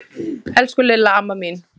Elsku Lilla amma mín.